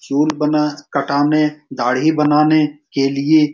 बना कटाने दाढ़ी बनाने के लिए --